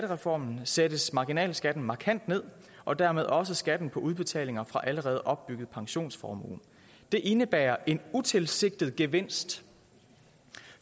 reformen sættes marginalskatten markant ned og dermed også skatten på udbetalinger fra allerede opbygget pensionsformue det indebærer en utilsigtet gevinst